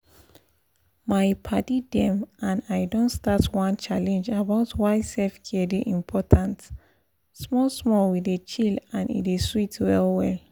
my padi dem and i don start one challenge about why self-care dey important small small we dey chill and e dey sweet well well.